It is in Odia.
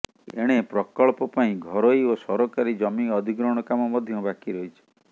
ଏଣେ ପ୍ରକଳ୍ପ ପାଇଁ ଘରୋଇ ଓ ସରକାରୀ ଜମି ଅଧିଗ୍ରହଣ କାମ ମଧ୍ୟ ବାକି ରହିଛି